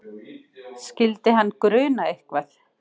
Skyldi hann gruna eitthvað?